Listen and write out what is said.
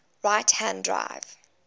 right hand drive